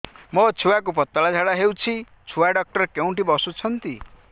ମୋ ଛୁଆକୁ ପତଳା ଝାଡ଼ା ହେଉଛି ଛୁଆ ଡକ୍ଟର କେଉଁଠି ବସୁଛନ୍ତି